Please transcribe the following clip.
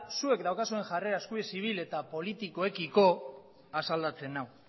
zuek daukazuen jarrera eskubide zibil eta poetikoekiko asaldatzen nau